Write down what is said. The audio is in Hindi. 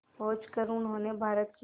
पहुंचकर उन्होंने भारत की